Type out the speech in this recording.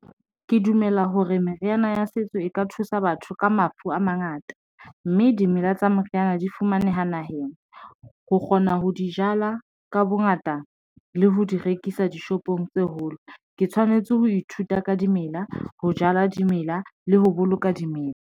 Ke dumela hore meriana ya setso e ka thusa batho ka mafu a mangata, mme dimela tsa meriyana di fumaneha naheng, ho kgona ho di jala ka bongata le ho di rekisa dishopong tse holo ke tshwanetse ho ithuta ka dimela, ho jala dimela le ho boloka dimela.